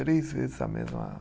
Três vezes a mesma.